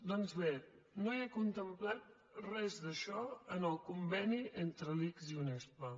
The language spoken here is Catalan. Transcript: doncs bé no hi ha contemplat res d’això en el conveni entre l’ics i unespa